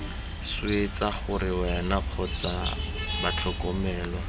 swetsa gore wena kgotsa batlhokomelwa